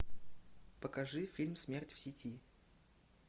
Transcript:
покажи фильм смерть в сети